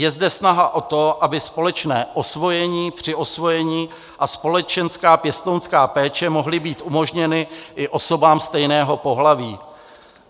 Je zde snaha o to, aby společné osvojení, přiosvojení a společenská (?) pěstounská péče mohly být umožněny i osobám stejného pohlaví.